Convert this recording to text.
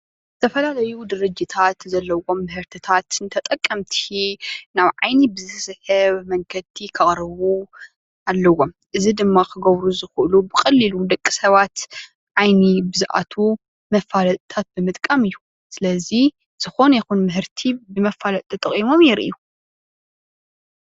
ዝተፈላለዩ ድርጅታት ዘለዎም ምህርትታት ንተጠቀምቲ ናብ ዓይኒ ብዝሰሕብ መንገዲ ከቅርቡ አለዎም። ኤዚ ድማ ክገብሪ ዝኽእሉ ብቀሊሉ ንደቂሰባት ዐይኒ ብዝኣትው መፋልጥታት ብምጥቃሞ እዩ። ሰለዚ ዝኾነ ይኹን ምህርቲ ብመፋለጢ ተጠቂምሞ የርእዩ።